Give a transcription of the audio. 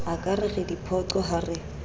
ekare re diphoqo ha re